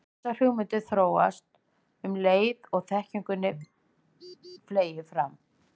Þessar hugmyndir þróast um leið og þekkingunni fleygir fram.